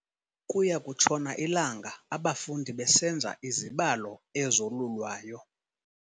Kuya kutshona ilanga abafundi besenza izibalo ezolulwayo.